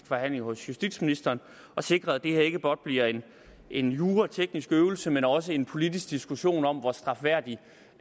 forhandling hos justitsministeren og sikret at det her ikke blot bliver en jurateknisk øvelse men også en politisk diskussion om hvor strafværdig